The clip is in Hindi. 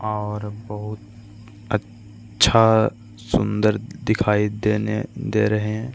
और बहुत अच्छा सुन्दर दिखाई देने दे रहें हैं |